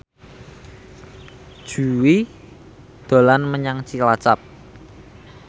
Jui dolan menyang Cilacap